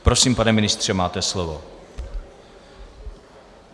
Prosím, pane ministře, máte slovo.